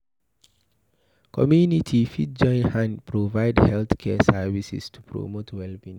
community fit join hand provide health care services to promote well being